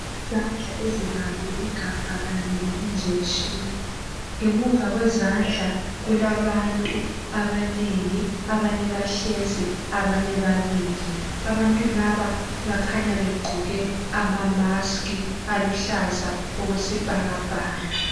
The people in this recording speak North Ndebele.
Izandla ezibambe igabha kanye le injection. Ngemuva kwezandla kulabantu abanengi, abanye bahlezi abanye bamile. Abantu laba bakhanya begqoke ama mask aluhlaza okwesibhakabhaka.